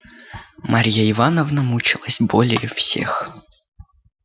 марья ивановна мучилась более всех